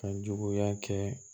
Kan juguya kɛ